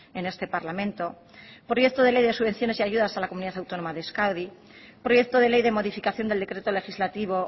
en este parlamento proyecto de ley de subvenciones y ayudas a la comunidad autónoma de euskadi proyecto de ley de modificación del decreto legislativo